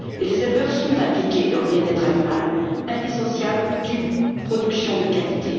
De plus, les éleveurs sont impliqués dans le bien être animal, indissociable d'une production de qualité.